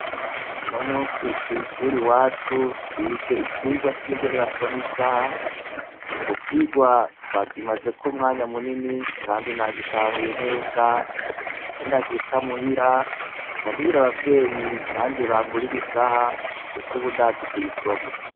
Unomunsi kwishuri iwacu twize icigwa c' ingene basoma isaha ico cigwa twakimazeko umwanya munini kandi nagitahuye neza ninashika muhira ca mbwira abavyeyi nanje bangurira isaha kuko ubu ndazi kuyisoma.